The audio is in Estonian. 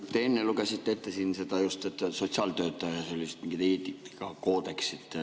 Te enne lugesite siin ette seda sotsiaaltöötaja mingit eetikakoodeksit.